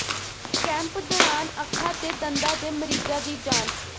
camp ਦੌਰਾਨ ਅੱਖਾਂ ਤੇ ਦੰਦਾਂ ਦੇ ਮਰੀਜ਼ਾਂ ਦੀ ਜਾਂਚ